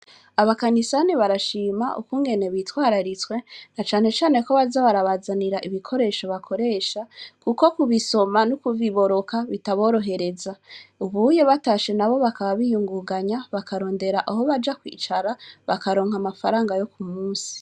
abakanisani barashima ukungene bitwararitse na cane cane ko baza barabazanira ibikoresho bakoresha kuko kubisoma nokubiboroka bitaborohereza batashe bakaba biyungagana bakarondwra aho baja kwicara bakaronka amafaranga yo kumunsi